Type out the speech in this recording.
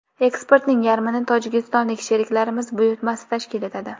Eksportning yarmini tojikistonlik sheriklarimiz buyurtmasi tashkil etadi.